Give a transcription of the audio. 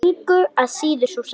Engu að síður sú sama.